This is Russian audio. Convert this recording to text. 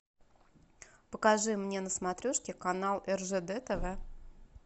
покажи мне на смотрешке канал ржд тв